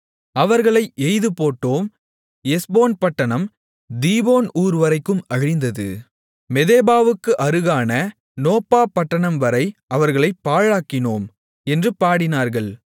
அவர்களை எய்துபோட்டோம் எஸ்போன் பட்டணம் தீபோன் ஊர்வரைக்கும் அழிந்தது மெதெபாவுக்கு அருகான நோப்பா பட்டணம்வரை அவர்களைப் பாழாக்கினோம் என்று பாடினார்கள்